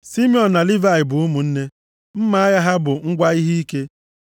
“Simiọn na Livayị bụ ụmụnne. Mma agha ha bụ ngwa ihe ike.